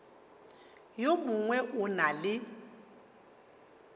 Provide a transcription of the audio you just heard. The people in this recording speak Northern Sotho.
yo mongwe o na le